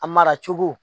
A mara cogo